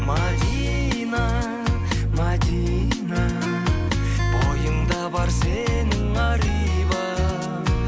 мәдина мәдина бойыңда бар сенің ар иба